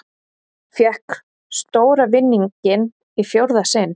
Fékk stóra vinninginn í fjórða sinn